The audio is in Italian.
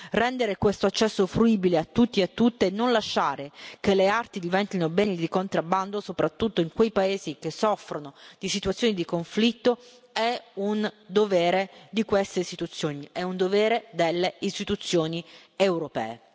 Rendere questo accesso fruibile a tutti e a tutte e non lasciare che le arti diventino beni di contrabbando, soprattutto in quei paesi che soffrono di situazioni di conflitto, è un dovere di queste istituzioni, è un dovere delle istituzioni europee.